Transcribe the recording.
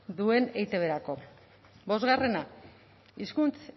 duen eitbrako bostgarrena hizkuntz